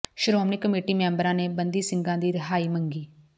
Shiromani committee ਮੈਂਬਰਾਂ ਨੇ ਬੰਦੀ ਸਿੰਘਾਂ ਦੀ ਰਿਹਾਈ ਮੰਗੀ